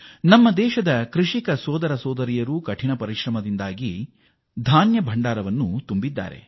ನಮ್ಮ ರೈತ ಸೋದರರು ಮತ್ತು ಸೋದರಿಯರು ನಮ್ಮ ಕಣಜವನ್ನು ತುಂಬಲು ಶಕ್ತಿಮೀರಿ ಶ್ರಮಿಸಿದ್ದಾರೆ